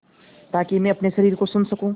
ताकि मैं अपने शरीर को सुन सकूँ